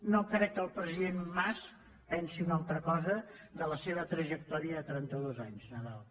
no crec que el president mas pensi una altra cosa de la seva trajectòria de trenta dos anys nadal